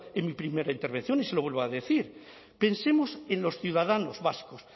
en mi primera intervención y se lo vuelvo a decir pensemos en los ciudadanos vascos